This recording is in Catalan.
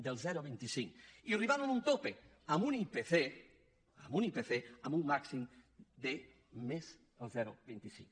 del zero coma vint cinc i arribant a un topall amb un ipc amb un màxim de més el zero coma vint cinc